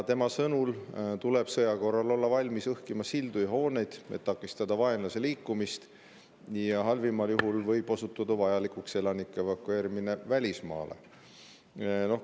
Tema sõnul tuleb sõja korral olla valmis õhkima sildu ja hooneid, et takistada vaenlase liikumist, ja halvimal juhul võib osutuda vajalikuks elanike evakueerimine välismaale.